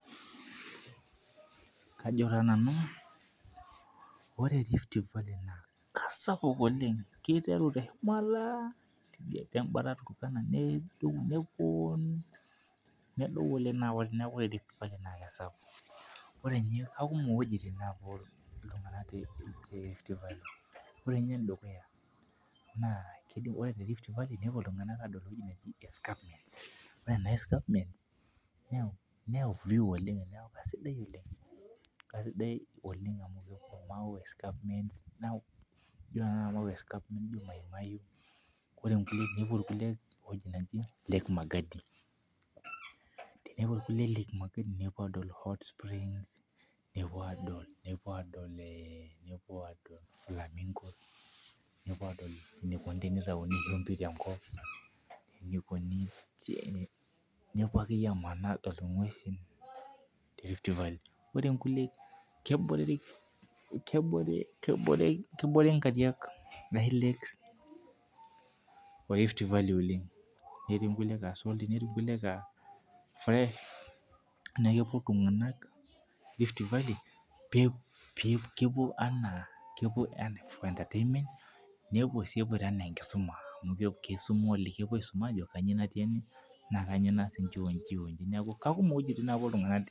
Kajo taa nanu ore riftvalley na kasapuk oleng kiteru teshumata tidie tengalo turkana nedou neaku ore riftvalley na kesapuk ore nye kakumok wuejitin napuo ltunganak ore nye dukuya ore terift valley nepuo ltunganak adol entoki naji escapement neaku kesidai Oleng ore nepuo irkulie ewoi naji lake magadi tenepuo irkulie lake magadi nepuo adol hotsprings nepuo adol flamingos nepuo adol enikuni tenitauni shumbi tenkop nepuo amanaa adol ngwesi terift valley ore nkulie kebore kebore nkariak oleng netii nkulie aa fresh neaku kepuo ltunganak rift valley kepuo anaa si epoito anaa enkisuma neaku kakumok wuejitin napuo ltung'anak.